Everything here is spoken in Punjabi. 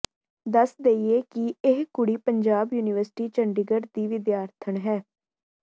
ਦੱਸ ਦੇਈਏ ਕਿ ਇਹ ਕੁੜੀ ਪੰਜਾਬ ਯੂਨੀਵਰਸਿਟੀ ਚੰਡੀਗੜ੍ਹ ਦੀ ਵਿਦਿਆਰਥਣ ਹੈ